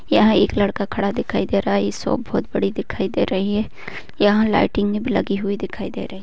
यहाँ एक लड़का खड़ा दिखाई दे रहा है। इ शॉप बहोत बड़ी दिखाई दे रही है। यहाँ लाइटिंगे भी लगी हुई दिखाई दे रही --